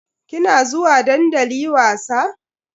Kina zuwa dandali wasa?